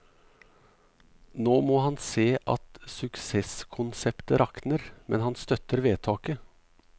Nå må han se at suksesskonseptet rakner, men han støtter vedtaket.